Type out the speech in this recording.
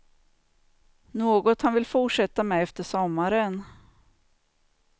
Något han vill fortsätta med efter sommaren.